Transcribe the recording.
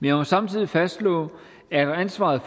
jeg må samtidig fastslå at ansvaret